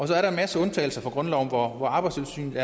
der er en masse undtagelser fra grundloven hvor hvor arbejdstilsynet